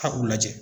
A k'u lajɛ